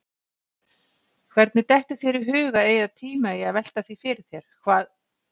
Hvernig dettur þér í hug að eyða tíma í að velta því fyrir þér, hvað